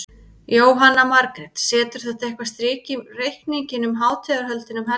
Jóhanna Margrét: Setur þetta eitthvað strik í reikninginn um hátíðarhöldin um helgina?